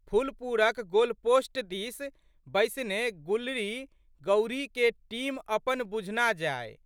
फुलपुरक गोलपोस्ट दिस बैसने गुलरीगौरीके टीम अपन बुझना जाइ।